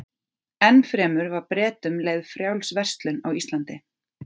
Enn fremur var Bretum leyfð frjáls verslun á Íslandi.